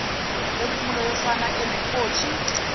lwempumulo yosana enenkothi